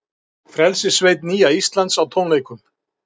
Frelsissveit Nýja Íslands á tónleikum